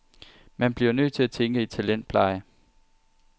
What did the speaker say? Man bliver nødt til at tænke i talentpleje.